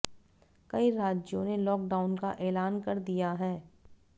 कई राज्यों ने लॉकडाउन का ऐलान कर दिया है